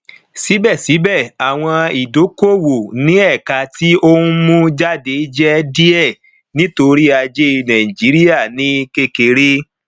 síbẹsíbẹ àwọn ìdíkòowò ní ẹka ti ohun mú jáde jẹ díẹ nítorí ajé nàìjíríà ní kékeré